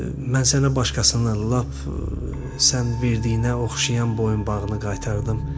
Mən sənə başqasını lap sən verdiyinə oxşayan boyunbağını qaytardım.